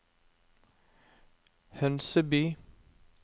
Hønseby